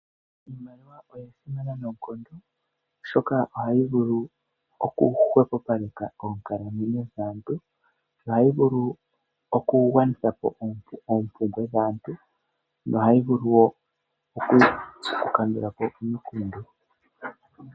Iimalia oya simana noonkondo oshoka ohayi vulu okuhwepopaleka oonkalamwenyo dhaantu. Ohayi vulu okugwanitha po oompumbwe dhaantu. Nohayi vulu wo okukandulapo omikundu.